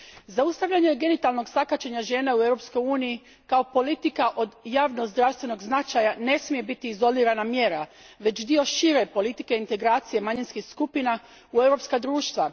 Zaustavljanje genitalnog sakaćenja žena u Europskoj uniji kao politika od javnog zdravstvenog značaja ne smije biti izolirana mjera, već dio šire politike integracije manjinskih skupina u europska društva.